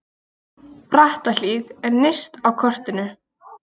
Brattahlíð er nyrst á kortinu.